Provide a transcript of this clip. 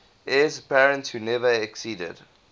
heirs apparent who never acceded